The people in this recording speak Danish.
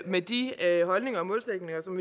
med de holdninger